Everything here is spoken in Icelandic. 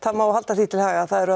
það má halda því til haga að